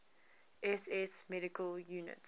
ss medical units